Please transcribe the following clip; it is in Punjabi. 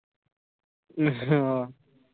ਆਹ